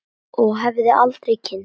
Og hefði aldrei kynnst